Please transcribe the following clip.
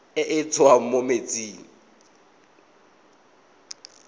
e e tswang mo metsing